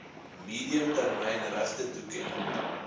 medium termyn regtetoekenning